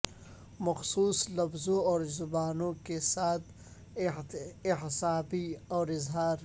مخصوص لفظوں اور زبانوں کے ساتھ اعصابی اور اظہار